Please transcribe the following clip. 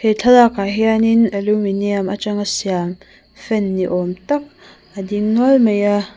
he thlalakah hianin aluminiam aṭanga siam fan ni âwm tak a ding nual mai a.